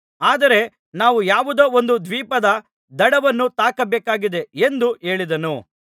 ಆದರೆ ನಾವು ಯಾವುದೋ ಒಂದು ದ್ವೀಪದ ದಡವನ್ನು ತಾಕಬೇಕಾಗಿದೆ ಎಂದು ಹೇಳಿದನು